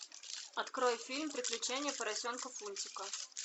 открой фильм приключения поросенка фунтика